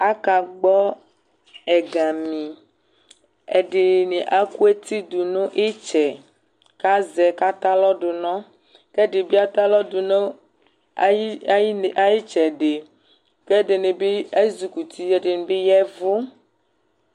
Akagbɔ ɛgami Ɛdɩnɩ akʋ eti dʋ nʋ ɩtsɛ kʋ azɛ kʋ atɛ alɔ dʋ nɔ, kʋ ɛdɩ bɩ atɛ alɔ dʋ nɔ ayɩ ayɩ ne ayʋ ɩtsɛdɩ kʋ ɛdɩnɩ bɩ ezikuti, ɛdɩnɩ bɩ ya ɛvʋ